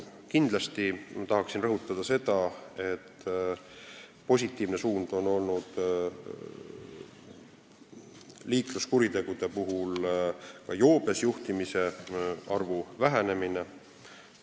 Kindlasti tahan ma rõhutada liikluskuritegude kohta, et positiivne on olnud joobes juhtimiste arvu vähenemine.